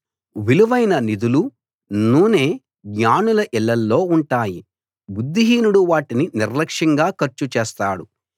విలువైన నిధులు నూనె జ్ఞానుల ఇళ్ళలో ఉంటాయి బుద్ధిహీనుడు వాటిని నిర్లక్షంగా ఖర్చు చేస్తాడు